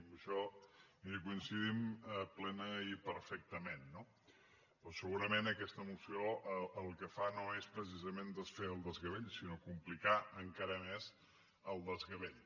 en això miri hi coincidim plenament i perfectament no però segurament aquesta moció el que fa no és precisament desfer el desgavell sinó complicar encara més el desgavell